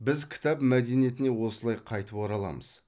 біз кітап мәдениетіне осылай қайтып ораламыз